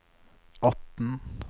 atten